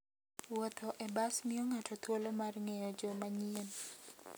Wuotho e bas miyo ng'ato thuolo mar ng'eyo joma nyien.